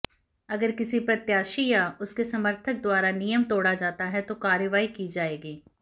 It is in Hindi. अगर किसी प्रत्याशी या उसके समर्थक द्वारा नियम तोड़ा जाता है तो कार्रवाई की जाएगी